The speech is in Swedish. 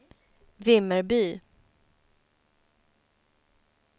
Vimmerby